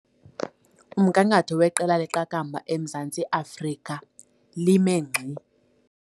Umgangatho weqela leqakamba eMzantsi Afrika lime ngxi.